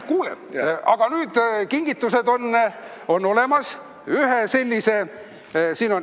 Kuule, aga kingitused on ka olemas.